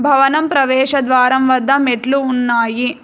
భవనం ప్రవేశ ద్వారం వద్ద మెట్లు ఉన్నాయి.